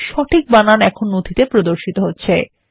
সঠিক বানান এখন নথিতে প্রদর্শিত হচ্ছে